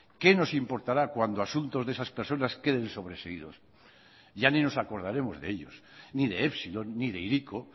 qué nos importará cuando asuntos de esas personas queden sobreseídos ya ni nos acordaremos de ellos ni de epsilon ni de hiriko